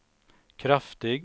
kraftig